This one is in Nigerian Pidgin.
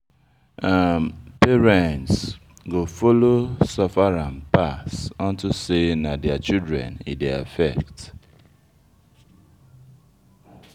um Parent go follow suffer am pass unto say, na dem children e dey affect.